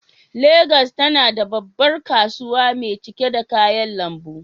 Legas tana da babbar kasuwa mai cike da kayan lambu.